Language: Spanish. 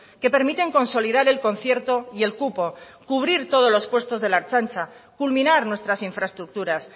que permiten consolidar el concierto y el cupo cubrir todos los puestos de la ertzaintza culminar nuestras infraestructuras